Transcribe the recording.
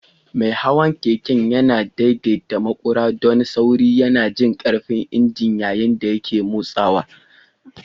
Mai hawan keke yana daidaita maƙura don sauri, yana jin ƙarfin injin yayin da yake motsawa.